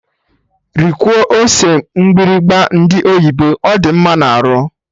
Rikwuo ose mgbịrịgba ndị oyibo, ọ dị mma na arụ!